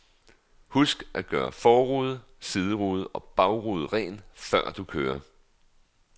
Husk at gøre forrude, siderude og bagrude ren, før du kører.